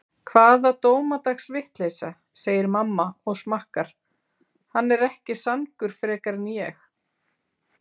Hvaða dómadags vitleysa, segir mamma og smakkar, hann er ekki sangur frekar en ég.